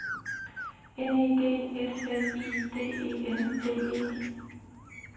N E D S L I D E N D E